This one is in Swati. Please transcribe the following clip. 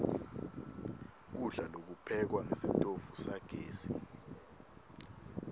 kudla lokuphekwa ngesitofu sagesi